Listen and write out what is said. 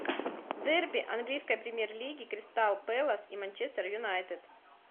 дерби английской премьер лиги кристал пэлас и манчестер юнайтед